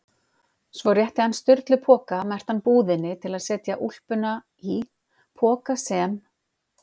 Svo rétti hann Sturlu poka merktan búðinni til að setja úlpuna í- poka sem